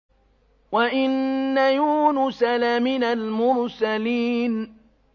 وَإِنَّ يُونُسَ لَمِنَ الْمُرْسَلِينَ